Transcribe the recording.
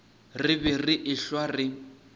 re be re ehlwa re